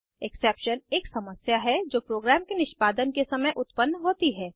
exception एक समस्या है जो प्रोग्राम के निष्पादन के समय उत्पन्न होती है